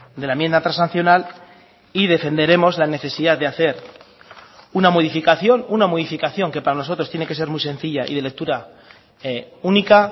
de la enmienda transaccional y defenderemos la necesidad de hacer una modificación una modificación que para nosotros tiene que ser muy sencilla y de lectura única